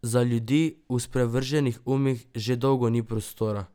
Za ljudi v sprevrženih umih že dolgo ni prostora!